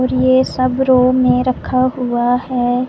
और ये सब रूम मे रखा हुआ है।